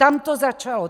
Tam to začalo.